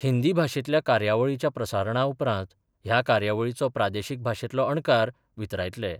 हींदी भाशेतल्या कार्यावळीच्या प्रसारणा उपरांत, ह्या कार्यावळीचो प्रादेशीक भाशेतलो अणकार वितरायतले.